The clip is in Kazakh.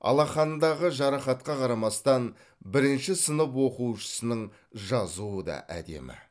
алақанындағы жарақатқа қарамастан бірінші сынып оқушысының жазуы да әдемі